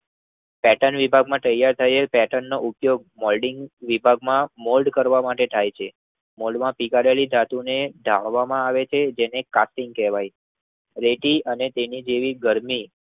ઓટન વિભાગમાં તૈયાર થયેલ પેટર્નનો ઉપયોગ મોલ્ડિંગ વિભાગમાં મોલ્ડ કરવા માટે થાય છે. મોલ્ડમાં પીગળેલી ધાતુને ચાળવામાં આવે છે જેને કારપિંગ કહેવામાં છે. રેતી અને તેની જેવી ગરમી